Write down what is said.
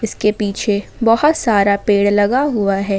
उनके पीछे बहुत सारा पेड़ लगा हुआ है।